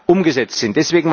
umgesetzt sind.